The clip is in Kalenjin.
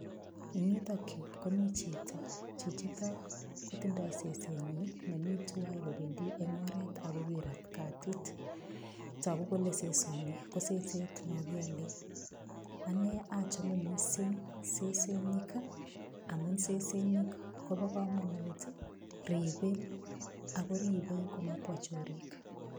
Eng yutok yu ko michito ne tindoi sesenyi nemi tuwai kobendi eng oret agokirat katit. Tagu kole sesoni ko seset no kiale. Ane achome mising sesenik amu sesenik koba kamanut ago ribei komabwa chorik.